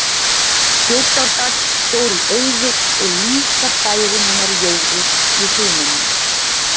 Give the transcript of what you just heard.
Þjórsárdal fór í eyði og líka bærinn hennar Jóru í Hrunamannahreppi.